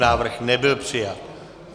Návrh nebyl přijat.